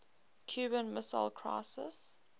cuban missile crisis